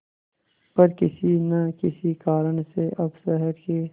पर किसी न किसी कारण से अब शहर के